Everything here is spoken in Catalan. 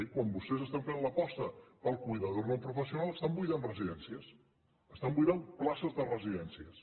quan vostès estan fent l’aposta pel cuidador no professional estan buidant residències estan buidant places de residències